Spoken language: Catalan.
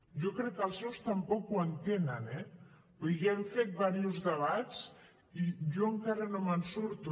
jo crec que els seus tampoc ho entenen eh vull dir ja hem fet diversos debats i jo encara no me’n surto